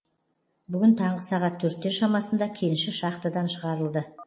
бүгін таңғы сағат төрттер шамасында кенші шахтыдан шығарылды